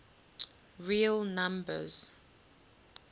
real numbers